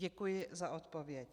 Děkuji za odpověď.